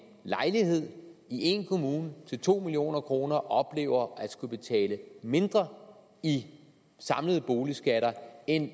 lejlighed i en kommune til to million kroner oplever at skulle betale mindre i samlede boligskatter end